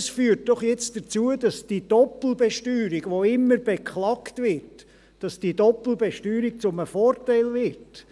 Dies führt doch jetzt dazu, dass die Doppelbesteuerung, welche immer beklagt wird, zum Vorteil wird.